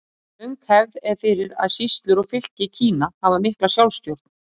Löng hefð er fyrir að sýslur og fylki Kína hafi mikla sjálfstjórn.